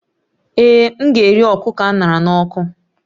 Ee, m ga-eri kụkọ a ṅara n'ọkụ